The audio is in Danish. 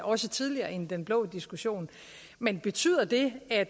også tidligere end den blå diskussion men betyder det at